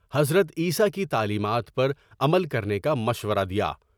حضرت عیسی کی تعلیمات پر عمل کرنے کا مشورہ دیا ۔